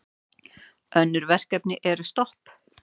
Önnur verkefni eru stopp.